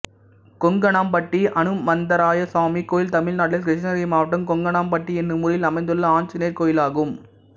கொங்கனாம்பட்டி அனுமந்தராயசாமி கோயில் தமிழ்நாட்டில் கிருஷ்ணகிரி மாவட்டம் கொங்கனாம்பட்டி என்னும் ஊரில் அமைந்துள்ள ஆஞ்சநேயர் கோயிலாகும்